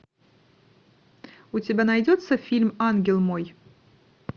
у тебя найдется фильм ангел мой